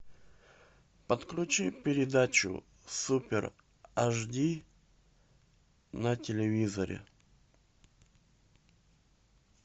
подключи передачу супер ашди на телевизоре